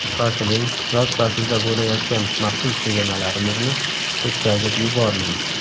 Shoshiling, yoz faslida bo‘layotgan maxsus chegirmalarimizni o‘tkazib yubormang!